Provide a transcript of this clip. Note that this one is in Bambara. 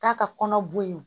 K'a ka kɔnɔ bo yen